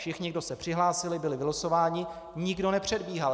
Všichni, kdo se přihlásili, byli vylosováni, nikdo nepředbíhal.